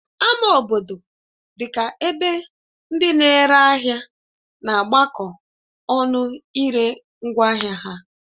Ama obodo dị ka ebe ndị na-ere ahịa na-agbakọ ọnụ ire ngwaahịa ha